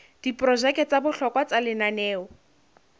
diprojeke tsa bohlokwa tsa lenaneo